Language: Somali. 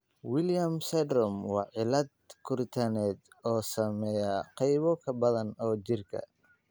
Williams syndrome waa cillad koritaaneed oo saameeya qaybo badan oo jirka ah.